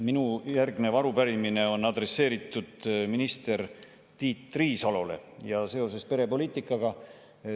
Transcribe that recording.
Minu järgmine arupärimine on adresseeritud minister Tiit Riisalole seoses perepoliitikaga.